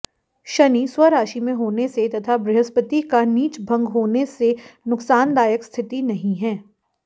शनि स्वराशि में होने से तथा बृहस्पति का नीचभंग होने से नुकसानदायक स्थिति नहीं है